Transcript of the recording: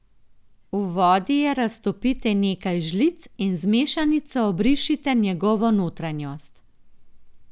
V vodi je raztopite nekaj žlic in z mešanico obrišite njegovo notranjost.